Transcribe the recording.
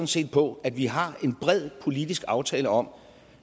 set på at vi har en bred politisk aftale om